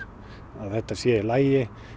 að þetta sé í lagi